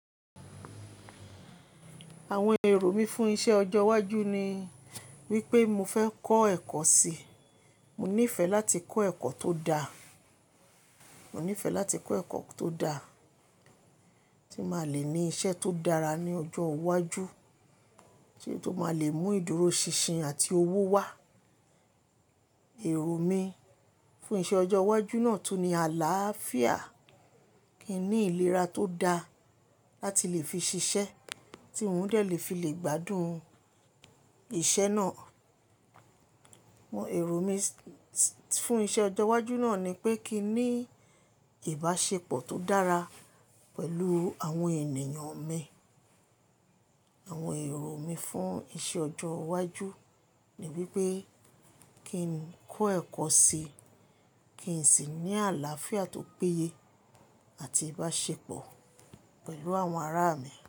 Àwọn èrò mi fún iṣẹ́ ọjọ́ iwájú ni wípé mo fẹ́ kọ́ ẹ̀kọ́ síi. Mo nífẹ̀ẹ́ láti kọ́ ẹ̀kọ́ tó dá, mo nífẹ̀ẹ́ láti kọ́ ẹ̀kọ́ tó dá tí máa lè ní isẹ́ tó dára ní ọjọ́ iwájú, ise tó máa le mú ìdúróṣinṣin àti owó wá. Èrò mi fún iṣẹ́ ọjọ́ iwájú náà tún ni àláàfíà, kín ní ìlera tó da láti lè fi ṣiṣẹ́ tí ún de lè fi lè gbádùn iṣẹ́ náà. Òwò èrò mi s-- fún iṣẹ́ ọjọ́ iwájú náà ni pé kín ní ìbáṣepọ̀ tó dára pẹ̀lú àwọn ènìyàn mi. Àwọn èrò mi fún iṣẹ́ ọjọ́ iwájú ni wípé kín kọ́ ẹ̀kọ́ síi, kín sì ní àláàfíà tó péye àti ìbáṣepọ̀ pẹ̀lú àwọn ará mi.